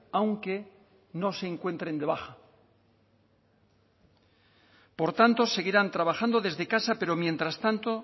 aunque no se encuentren de baja por tanto seguirán trabajando desde casa pero mientras tanto